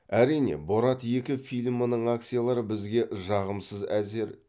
әрине борат екі фильмінің акциялары бізге жағымсыз әзер